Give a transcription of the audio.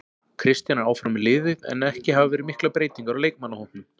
Kristján er áfram með liðið en ekki hafa verið miklar breytingar á leikmannahópnum.